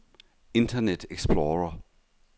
internet explorer